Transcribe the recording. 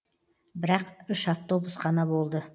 бірақ үш автобус қана болды